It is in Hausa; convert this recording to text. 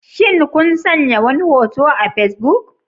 Shin kun sanya wani hoto a Facebook?